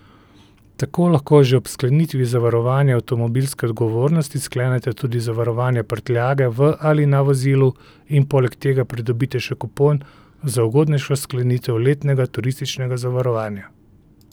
Tako lahko že ob sklenitvi zavarovanja avtomobilske odgovornosti sklenete tudi zavarovanja prtljage v ali na vozilu in poleg tega pridobite še kupon za ugodnejšo sklenitev letnega turističnega zavarovanja.